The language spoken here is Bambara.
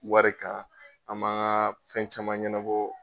Wari ka ani m'a ka fɛn caman ɲɛnabɔ.